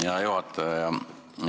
Hea juhataja!